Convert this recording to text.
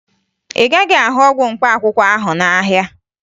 Ị gaghị ahụ ọgwụ mkpaakwụkwọ ahụ n'ahịa